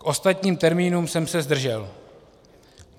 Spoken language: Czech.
K ostatním termínům jsem se zdržel.